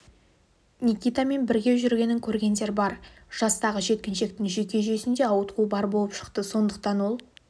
никитамен бірге жүргенін көргендер бар жастағы жеткіншектің жүйке жүйесінде ауытқу бар болып шықты сондықтан ол